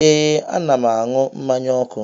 Ee, a na'm anụ mmanye ọku